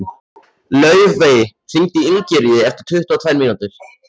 Laufey, hringdu í Ingiríði eftir tuttugu og tvær mínútur.